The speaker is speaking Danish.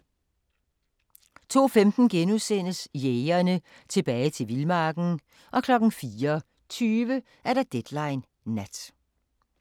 02:15: Jægerne – Tilbage til vildmarken * 04:20: Deadline Nat